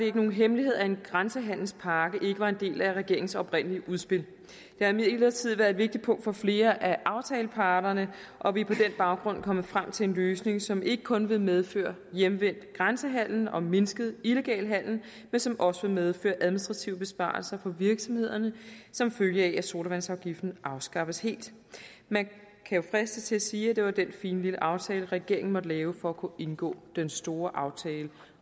ikke nogen hemmelighed at en grænsehandelspakke ikke var en del af regeringens oprindelige udspil det har imidlertid været et vigtigt punkt for flere af aftaleparterne og vi er på den baggrund kommet frem til en løsning som ikke kun vil medføre hjemvendt grænsehandel og mindsket illegal handel men som også vil medføre administrative besparelser for virksomhederne som følge af at sodavandsafgiften afskaffes helt man kan jo fristes til at sige at det var den fine lille aftale regeringen måtte lave for at kunne indgå den store aftale